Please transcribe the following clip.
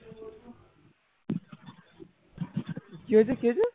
কি হয়েছে কি হয়েছে